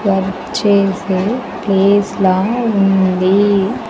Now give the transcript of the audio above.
Work చేసే place లా ఉంది.